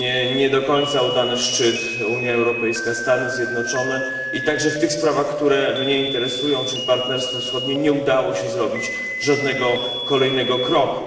Nie do końca udany szczyt Unia Europejska Stany Zjednoczone, a także w tych sprawach, które mnie interesują czyli partnerstwo wschodnie nie udało się zrobić żadnego kolejnego kroku.